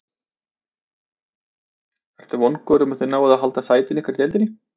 Ertu vongóður um að þið náið að halda sæti ykkar í deildinni?